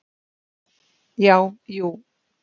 Já, jú.